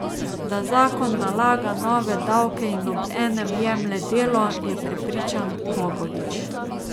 Da zakon nalaga nove davke in obenem jemlje delo, je prepričan Bogovič.